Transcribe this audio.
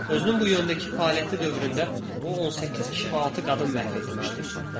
Özünün bu yöndəki fəaliyyəti dövründə o, 18 kişi və 6 qadın məhv etmişdi.